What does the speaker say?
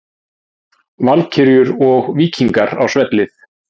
Valkyrjur og Víkingar á svellið